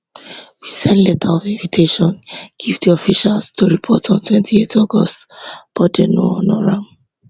we send letters of invitation give di officials to report on 28th august but dem no honour am